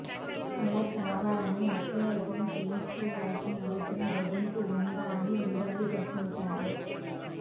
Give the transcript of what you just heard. అలా కావాలనే హత్యాయత్నం చేయించుకోవాల్సిన అవసరం జగన్కు ఉందా అని ఉండవల్లి ప్రశ్నించారు